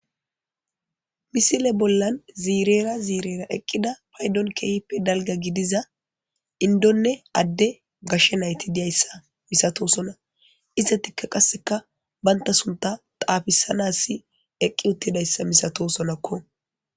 misile bollan ziirera ziirera eqqida paydon keeype dalga gidiza indonne adde gashshe nayti diyayssa misatosona iszatikka qasseka banta sunta xaafisanassi eqqi uttidayssa misato sonakko